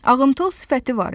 Ağımıtıl sifəti var idi.